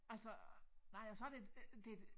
Altså nej og så det øh det